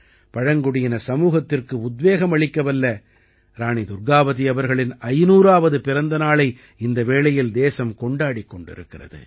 பழங்குடியின சமூகத்திற்கு உத்வேகம் அளிக்கவல்ல ராணி துர்க்காவதி அவர்களின் 500ஆவது பிறந்த நாளை இந்த வேளையில் தேசம் கொண்டாடிக் கொண்டிருக்கிறது